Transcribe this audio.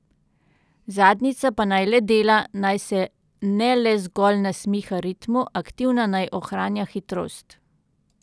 Zadnjica pa naj le dela, naj se ne le zgolj nasmiha ritmu, aktivna naj ohranja hitrost.